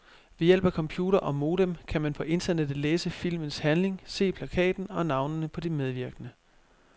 Ved hjælp af computer og modem kan man på internettet læse filmens handling, se plakaten og navnene på de medvirkende.